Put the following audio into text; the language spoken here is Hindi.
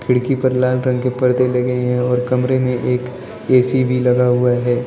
खिड़की पर लाल रंग के पर्दे लगे हुए हैं और कमरे में एक ए_सी लगा हुआ है।